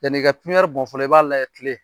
Yani ka bɔn fɔlɔ, i b'a layɛ kile.